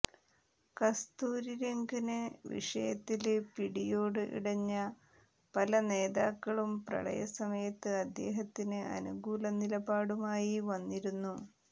കസ്തൂരിരംഗന് വിഷയത്തില് പിടിയോട് ഇടഞ്ഞ പലനേതാക്കളും പ്രളയസമയത്ത് അദ്ദേഹത്തിന് അനുകൂല നിലപാടുമായി വന്നിരുന്നു